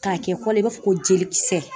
K'a kɛ kɔ l'i i b'a fɔ ko jelikisɛ.